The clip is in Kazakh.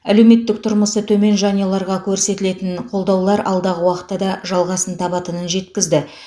әлеуметтік тұрмысы төмен жанұяларға көрсетілетін қолдаулар алдағы уақытта да жалғасын табатынын жеткізді